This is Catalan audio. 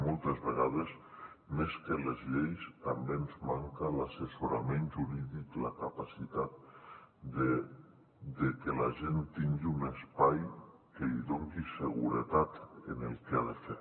moltes vegades més que les lleis també ens manca l’assessorament jurídic la capacitat de que la gent tingui un espai que li doni seguretat en el que ha de fer